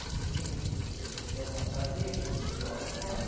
No dia seguinte, você já não tem a fantasia que muitos jogam fora.